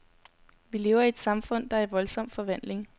Vi lever i et samfund, der er i voldsom forvandling.